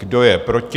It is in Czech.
Kdo je proti?